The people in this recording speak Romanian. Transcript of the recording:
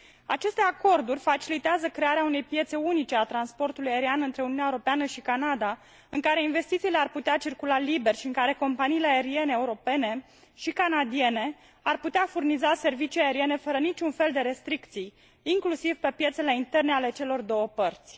Aceste acorduri facilitează crearea unei piețe unice a transportului aerian între Uniunea Europeană și Canada, în care investițiile ar putea circula liber și în care companiile aeriene europene și canadiene ar putea furniza servicii aeriene fără niciun fel de restricții, inclusiv pe piețele interne ale celor două părți.